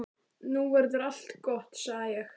Nú verður allt gott, sagði ég.